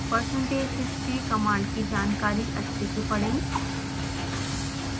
percentage history command की जानकारी अच्छे से पढ़ें